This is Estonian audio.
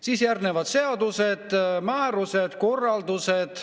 Siis järgnevad seadused, määrused, korraldused.